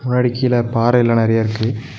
முன்னாடி கீழ பாறைல்லா நறையா இருக்கு.